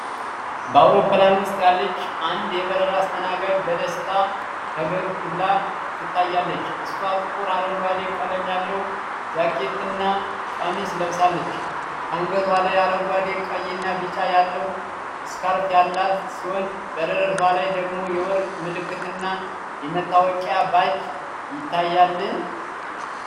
በአውሮፕላን ውስጥ ያለች አንድ የበረራ አስተናጋጅ በደስታ ፈገግ ብላ ትታያለች። እሷ ጥቁር አረንጓዴ ቀለም ያለው ጃኬትና ቀሚስ ለብሳለች። ከአንገቷ ላይ አረንጓዴ፣ ቀይና ቢጫ ያለው ስካርፍ ያላት ሲሆን፣ በደረቷ ላይ ደግሞ የወርቅ ምልክትና የመታወቂያ ባጅ ይታያል።